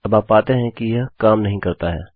अबआप पाते हैं कि यह काम नहीं करता है